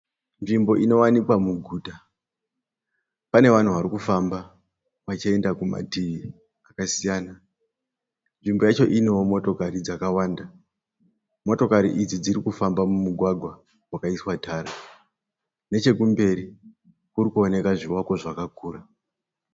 Nzvimbo inowanikwa muguta Pane vanhu vari kufamba vachienda kumativi akasiyana. Nzvimbo yacho inewo motokari dzakawanda. Motokari idzi dziri kufamba mumugwagwa wakaiswa tara. Nechekumberi kuri kuoneka zvivako zvakakura.